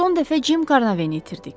Son dəfə Jim Carnaveni itirdik.